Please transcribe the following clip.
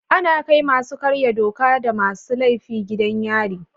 Ana kai masu karya doka da masu laifi gidan yari.